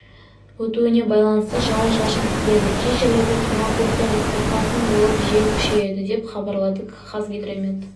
өтуіне байланысты жауын-шашын күтіледі кей жерлерде тұман көктайғақ бұрқасын болып жел күшейеді деп хабарлады қазгидромет